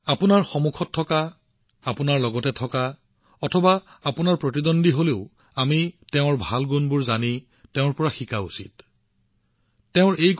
আপোনাৰ সৈতে যিয়েই মুখামুখি নহওক কিয় আপোনাৰ সপক্ষে হওক বা আপোনাৰ প্ৰতিদ্বন্দী হওক আমি তেওঁলোকৰ ভাল গুণবোৰৰ বিষয়ে জানিবলৈ চেষ্টা কৰা উচিত আৰু তেওঁলোকৰ পৰা শিকা উচিত